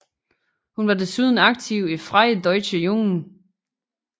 Hun var desuden aktiv i Freie Deutsche Jugend